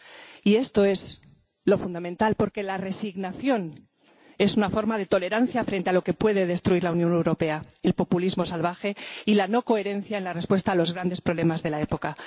Y esto es lo fundamental, porque la resignación es una forma de tolerancia frente a lo que puede destruir la Unión Europea el populismo salvaje y la no coherencia en la respuesta a los grandes problemas de la época.